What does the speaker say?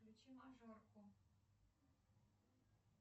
включи мажорку